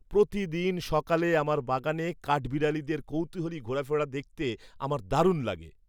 প্রতিদিন সকালে আমার বাগানে কাঠবিড়ালিদের কৌতূহলী ঘোরাফেরা দেখতে আমার দারুণ লাগে। (ব্যক্তি ১)